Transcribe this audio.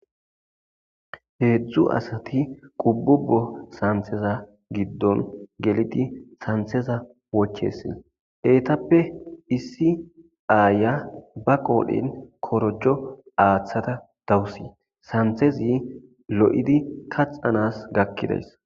Heedzdzu asati qububo saniteza giddo gelidi kanteza wochesi etappe issi aya ba qoren korjo atada dawusu.santi lo'izi kaxanasi hanida gakides